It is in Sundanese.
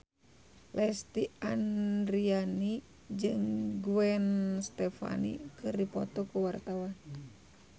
Lesti Andryani jeung Gwen Stefani keur dipoto ku wartawan